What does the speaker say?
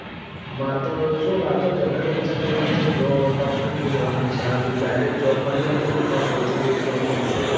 માર તો જો માર તો generally ઈચ્છા પેલી જ છે જો company thrue જવાની ઈચ્છા છે જો job મળી જતી હોય ને તો સૌથી best option એ જ .